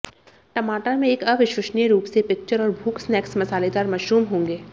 टमाटर में एक अविश्वसनीय रूप से पिक्चर और भूख स्नैक्स मसालेदार मशरूम होंगे